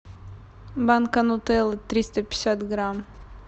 банка нутеллы триста пятьдесят грамм